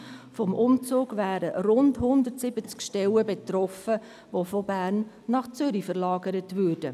Vom Umzug wären rund 170 Stellen betroffen, die von Bern nach Zürich verlagert würden.